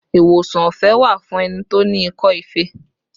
Ìwòsàn ọ̀fẹ́ wà fún ẹni tí ó ní ikọ́ ife